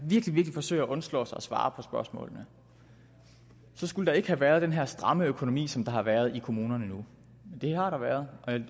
virkelig forsøger at undslå sig for at svare på spørgsmålene så skulle der ikke have været den her stramme økonomi som der har været i kommunerne nu det har der været